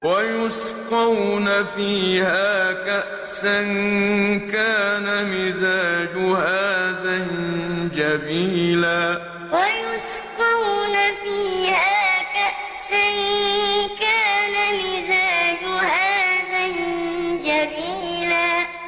وَيُسْقَوْنَ فِيهَا كَأْسًا كَانَ مِزَاجُهَا زَنجَبِيلًا وَيُسْقَوْنَ فِيهَا كَأْسًا كَانَ مِزَاجُهَا زَنجَبِيلًا